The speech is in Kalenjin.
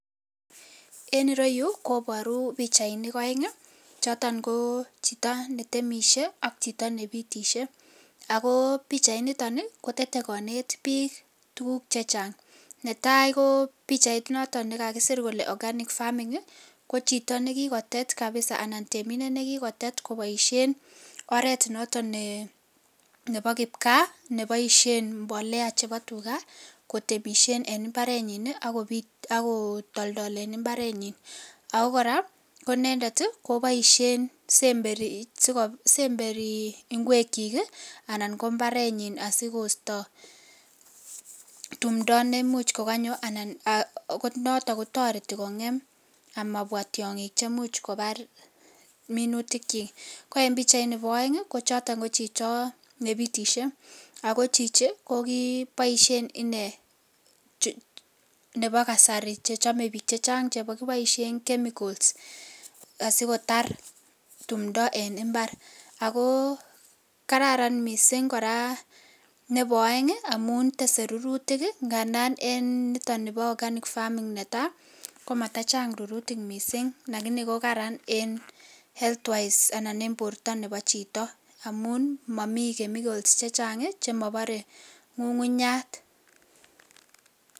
En ireyuu koboru pichainik oeng choton ko chito netemishe ak chito nebitishe ak ko pichainiton kotete koneet biik tukuk chechang, netai ko pichait noton nekakisir kolee organic farming ko chito nekikotet kabisaa anan temindet nekikotet koboishen oreet noton nebo kipkaa neboishen mbolea chebo tukaa kotemishen en imbarenyin ak kobiit ak kotoldolen imbarenyin ak ko kora ko inendet koboishen semberi ingwekyik anan ko imbarenyin sikosto timndo nekamuch ko konyo anan akot noton ko toreti kong'em amabwa tiong'ik chemuch kobar minutikyik, konoton nebo oeng ko choton ko chito nebitishe ak ko chichii ko boishen inee nebo kasari chechome biik chechang chekiboishen chemicals asikotar timndo en imbar ak ko kararan mising nebo oeng amun tesee rurutik ng'andan en niton nibo organic farming netaa komatachang rurutik mising lakini ko karan en health wise anan en borto nebo chito amuun momii chemicals chechang chemobore ng'ung'unyat.